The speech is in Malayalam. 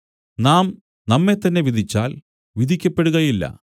നാം നമ്മെത്തന്നെ വിധിച്ചാൽ വിധിക്കപ്പെടുകയില്ല